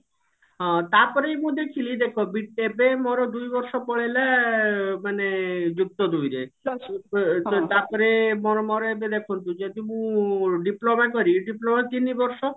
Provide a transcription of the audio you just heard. ହଁ ତାପରେ ବି ମୁଁ ଦେଖିଲି ଦେଖ ବି ଏବେ ମୋର ଦୁଇ ବର୍ଷ ପଳେଇଲା ଅ ମାନେ ଯୁକ୍ତ ଦୁଇରେ ତାପରେ ମୋର ମୋର ଏବେ ଦେଖନ୍ତୁ ଯଦି ମୁଁ diploma କରିବି diploma ତିନି ବର୍ଷ